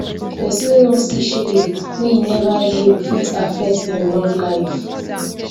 pesin wey won see shege wey im neva heal fit affect im love life